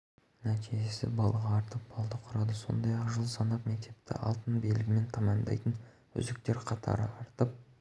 оның айтуынша елордада оқуын пен бітірген оқушылар саны пайызға артты былтырғы жылмен салыстырғанда ұлттық бірыңғай тестілеу